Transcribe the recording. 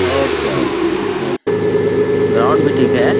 और क्या बोले इसके ग्राउन्ड भी ठीक हैं ।